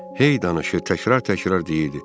Hey danışır, təkrar-təkrar deyirdi: